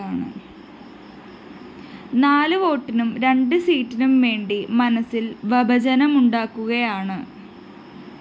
നാല് വോട്ടിനും രണ്ട്‌സീറ്റിനും വേണ്ടി മനസ്സില്‍ വഭജനമുണ്ടാക്കുകയാണ്